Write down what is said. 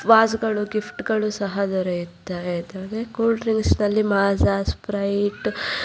was ಗಳು gift ಗಳು ಸಹ ದೊರೆಯುತ್ತವೆ ಇದರಲ್ಲಿ ಕೂಲ್ ಡ್ರಿಂಕ್ಸ್ ನಲ್ಲಿ ಮಜಾ ಸ್ಪಿರಿಟ್ --